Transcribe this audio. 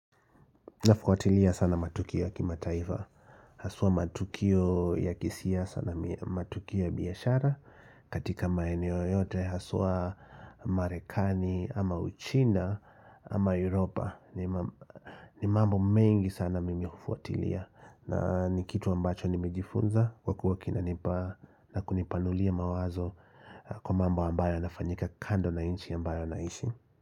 Nafuatilia sana matukio ya kimataifa. Haswa matukio ya kisiasa na matukio ya biashara. Katika maeneo yote haswa marekani ama uchina ama Europa. Ni mambo mengi sana mimi hufuatilia. Na nikitu ambacho nimejifunza kwa kuwa kinanipa na kunipanulia mawazo kwa mambo ambayo nafanyika kando na nchi ambayo naishi.